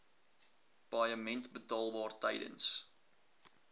paaiement betaalbaar tydens